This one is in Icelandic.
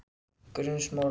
Grundarsmára